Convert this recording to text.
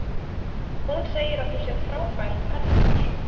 Hún segir að þú sért frábær pennavinur.